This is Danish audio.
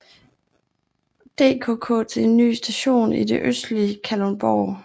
DKK til en ny station i det østlige Kalundborg